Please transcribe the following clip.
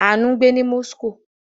Àánú ń gbé ní Moscow.